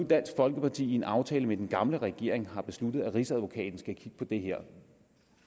dansk folkeparti i en aftale med den gamle regering har besluttet at rigsadvokaten skal kigge på det her